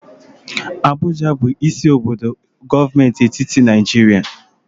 Abuja bụ isi obodo gọọmenti etiti Naịjirịa.